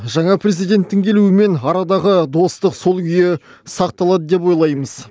жаңа президенттің келуімен арадағы достық сол күйі сақталады деп ойлаймыз